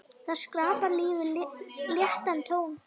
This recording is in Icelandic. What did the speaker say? Það skapar lífinu léttan tón.